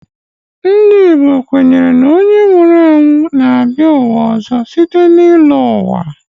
Ndị Igbo kwenyere na onye nwụrụ anwụ na-abịa ụwa ọzọ site n'ịlọ ụwa.